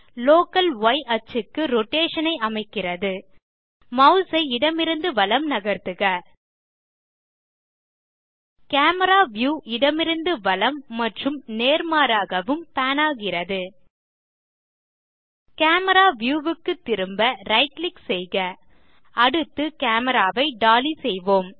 local ய் axis க்கு rotation ஐ அமைக்கிறது மாஸ் ஐ இடமிருந்து வலம் நகர்த்துக கேமரா வியூ இடமிருந்து வலம் மற்றும் நேர்மாறாகவும் பான் ஆகிறது கேமரா வியூ க்கு திரும்ப ரைட் கிளிக் செய்க அடுத்து கேமரா ஐ டாலி செய்வோம்